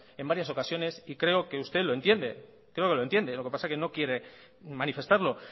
en varias ocasiones y creo que usted lo entiende creo que lo entiende lo que pasa que no quiere manifestarlo